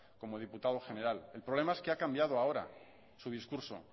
como diputado general el problema es que ha cambiado ahora su discurso